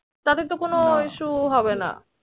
তাহলে তো কোন issue হবে না